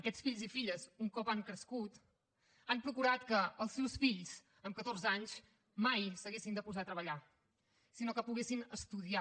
aquests fills i filles un cop han crescut han procurat que els seus fills amb catorze anys mai s’haguessin de posat a treballar sinó que poguessin estudiar